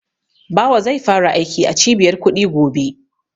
Bawa zai fara aiki a Cibiyar kuɗi gobe.